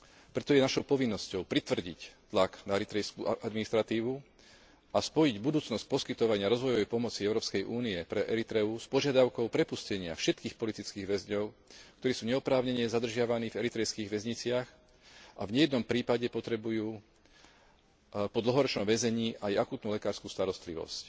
Preto je našou povinnosťou pritvrdiť tlak na eritrejskú administratívu a spojiť budúcnosť poskytovania rozvojovej pomoci Európskej únie pre Eritreu s požiadavkou prepustenia všetkých politických väzňov, ktorí sú neoprávnene zadržiavaní v eritrejských väzniciach a v nejednom prípade potrebujú po dlhoročnom väzení aj akútnu lekársku starostlivosť.